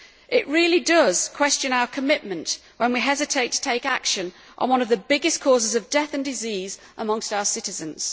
It really does question our commitment when we hesitate to take action on one of the biggest causes of death and disease amongst our citizens.